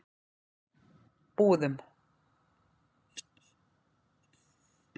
Búðum